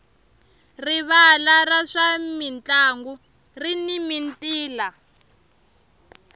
rivala ra swa mintlangu rini mintila